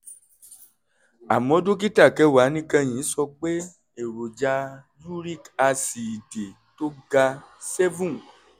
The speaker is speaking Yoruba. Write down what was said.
àmọ́ dókítà kẹwàá níkẹyìn sọ pé èròjà uric aásíìdì tó ga seven